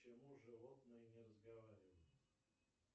почему животные не разговаривают